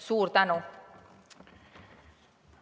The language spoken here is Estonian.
Suur tänu!